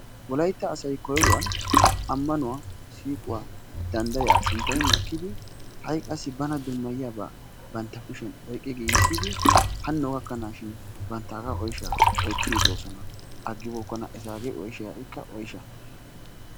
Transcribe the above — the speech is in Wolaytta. Wolaytta asay koyruwan ammanuwa, siiquwa, danddayaa sinttay makkidi ha'i qassi banttana dummayaabaa bantta kushiyan oyqqi giigisdid hanno gakkanaashin banttaagaa oyshaa oychchiiddi doosona aggibookkona etaagee oyshay ha'ikka oysha.